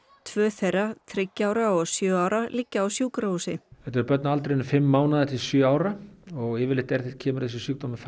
tvö þeirra þriggja ára og sjö ára liggja á sjúkrahúsi þetta eru börn á aldrinum fimm mánaða til sjö ára og yfirleitt kemur þessi sjúkdómur